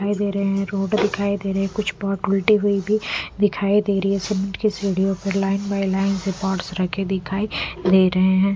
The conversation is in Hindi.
दिखाई दे रहे हैं रोड दिखाई दे रहे कुछ पार्ट उल्टे हुई भी दिखाई दे रही है सीमेंट की सीढ़ियों पे लाइन बाई लाइन के पार्ट्स रखे दिखाई दे रहे हैं।